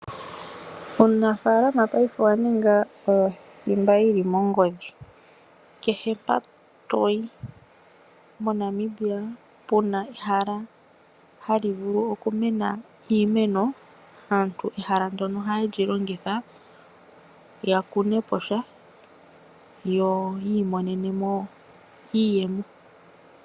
Uunafalaama paife owa ninga owo thimba yi na ongodhi. Kehe mpoka to yi moNamibia pu na ehala hali vulu okumena iimeno, aantu ehala ndyoka ohaye li longitha ya kune po sha yo yi imonene mo iiyemo.